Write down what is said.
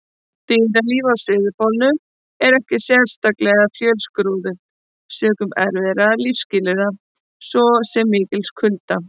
Dýralíf á Suðurpólnum er ekki sérlega fjölskrúðugt sökum erfiðra lífsskilyrða, svo sem mikils kulda.